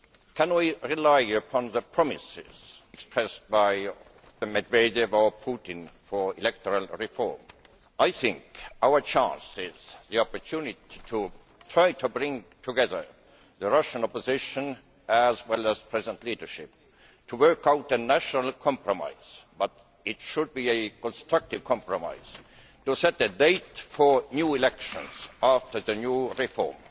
Can we rely upon the promises expressed by Mr Medvedev or Mr Putin for electoral reform? I think we have to seek the opportunity to try to bring together the Russian opposition with the present leadership to work out a national compromise but it should be a constructive compromise to set a date for new elections after the new reform.